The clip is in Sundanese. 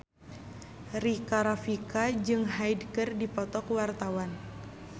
Rika Rafika jeung Hyde keur dipoto ku wartawan